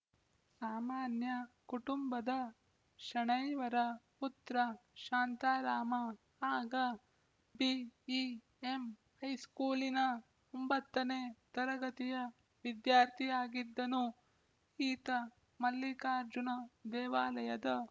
ಸಾಮಾನ್ಯ ಕುಟುಂಬದ ಶೆಣೈಯವರ ಪುತ್ರ ಶಾಂತರಾಮ ಆಗ ಬಿಇಎಂಹೈಸ್ಕೂಲಿನ ಒಂಬತ್ತನೇ ತರಗತಿಯ ವಿದ್ಯಾರ್ಥಿಯಾಗಿದ್ದನು ಈತ ಮಲ್ಲಿಕಾರ್ಜುನ ದೇವಾಲಯದ